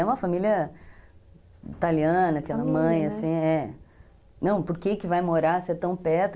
É uma família italiana, aquela mãe, assim, é. Não, por que vai morar se é tão perto?